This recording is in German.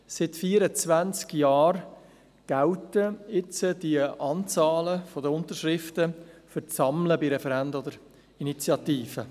Seit 24 Jahren gelten nun die Unterschriftenanzahlen für das Sammeln für Referenden oder Initiativen.